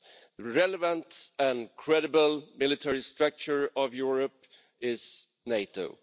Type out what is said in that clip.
The relevant and credible military structure of Europe is NATO.